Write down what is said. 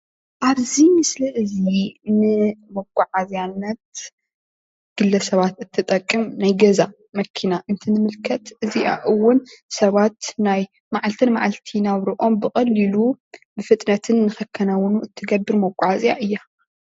ኣብዚ ምስሊ እዙይ ንመጓዓዝያነት ግለ ሰባት እትጠቅም ናይ ገዛ መኪና እንትንምልከት እዚኣ እውን ሰባት ናይ መዓልቲ መዓልቲ ናብረኦም ብቀሊሉ ብፍጥነትን ንከካናውኑ እትገብር መጓዓዝያ እያ።